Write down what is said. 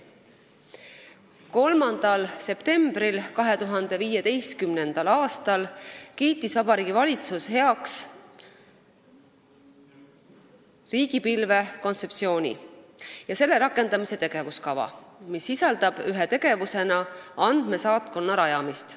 3. septembril 2015. aastal kiitis Vabariigi Valitsus heaks riigipilve kontseptsiooni ja selle rakendamise tegevuskava, mis ühe tegevusena sisaldab andmesaatkonna rajamist.